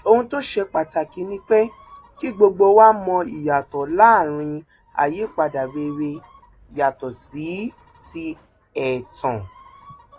ohun tó ṣe pàtàkì ni pé kí gbogbo wa mọ ìyàtọ láàrin àyípadà rere yàtọ sí ti ẹtàn